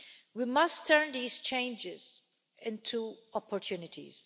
We must turn these changes into opportunities.